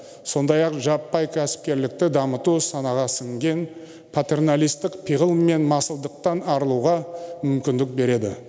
сондай ақ жаппай кәсіпкерлікті дамыту санаға сіңген патерналистік пиғыл мен масылдықтан арылуға мүмкіндік береді